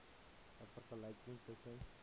n vergelyking tussen